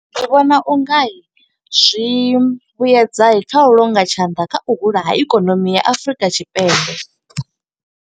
Ndi vhona u nga, zwi vhuedza kha u longa tshanḓa, kha u hula ha ikonomi ya Afurika Tshipembe.